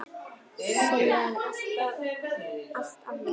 Segja henni allt af létta.